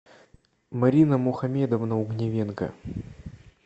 марина мухамедовна угнивенко